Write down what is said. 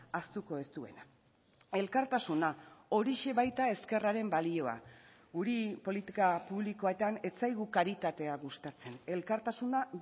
ahaztuko ez duena elkartasuna horixe baita ezkerraren balioa guri politika publikoetan ez zaigu karitatea gustatzen elkartasuna